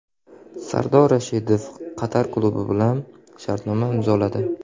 Sardor Rashidov Qatar klubi bilan shartnoma imzoladi.